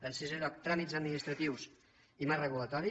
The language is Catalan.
en sisè lloc tràmits administratius i marc regulatori